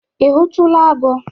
Ị hụtụla agụ?